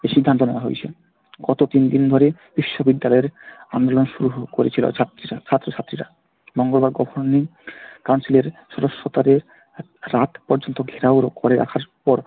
এই সিদ্ধান্ত নেওয়া হয়েছে। গত তিন দিন ধরে বিশ্ববিদ্যালয়ের আন্দোলন শুরু করেছিল ছাত্রীরা, ছাত্র ছাত্রীরা। মঙ্গলবার দিন council এর সদস্য তাদের রাত পর্যন্ত ঘেরাও করে রাখার পর